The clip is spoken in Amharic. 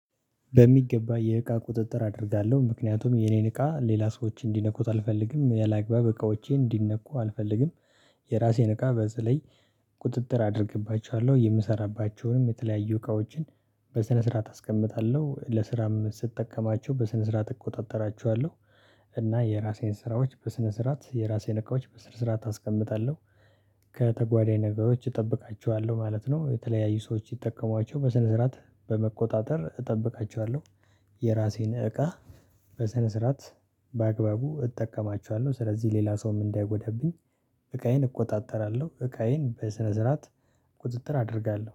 በሚገባ የእቃ ቁጥጥር አደርጋለሁ ምክንያቱም የኔን እቃ ሌላ ሰዎች እንዲነኩት አልፈልግም ያላግባብ እቃዎቼ እንዲነኩ አልፈልግም። የራሴን እቃ በተለይ ቁጥጥር አደርግባቸዋለሁ የምሰራባቸውንም የተለያዩ እቃዎችን በስነ ስርዓት አስቀምጣለሁ ለስራም ስጠቀማቸው በስነ ስርዓት እቆጣጠራቸዋለሁ። እና የራሴን ስራዎች በስነ ስርዓት የራሴን እቃዎች በስነ ስርዓት አስቀምጣለሁ። ከተጓደኝ ነገሮች እጠብቃቸዋለሁ ማለት ነው የተለያዩ ሰዎች ይጠቀሟቸው በስነ ስርዓት በመቆጣጠር እጠብቃቸዋለሁ። የራሴን እቃ በሰነ ስርዓት በአግባቡ እጠቀማቸዋለሁ። ስለዚህ ሌላ ሰውም እንዳይጎዳብኝ እቃዬን እቆጣጠራለሁ። እቃዬን በስነ ስርዓት ቁጥጥር አደርጋለሁ